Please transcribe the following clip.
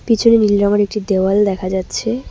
পিছনে নীল রঙের একটি দেওয়াল দেখা যাচ্ছে।